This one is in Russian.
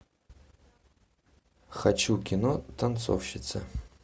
хочу кино танцовщица